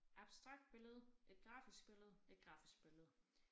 Abstrakt billede et grafisk billede et grafisk billede